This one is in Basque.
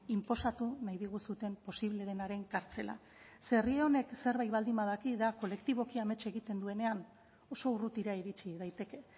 inposatu nahi diguzuen posible denaren kartzela zeren herri honek zerbait baldin badaki da kolektiboki amets egiten duenean oso urrutira iritsi daiteke